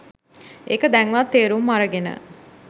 එක දැන්වත් තේරුම් අරගෙන